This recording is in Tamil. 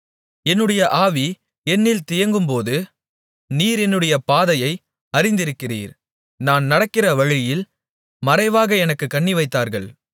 என்னுடைய ஆவி என்னில் தியங்கும்போது நீர் என்னுடைய பாதையை அறிந்திருக்கிறீர் நான் நடக்கிற வழியில் மறைவாக எனக்குக் கண்ணிவைத்தார்கள்